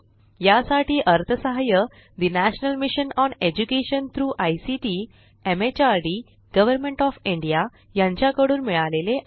यासाठी अर्थसहाय्य ठे national mission on education through ICT MHRD government of India यांच्या कडून मिळाले आहे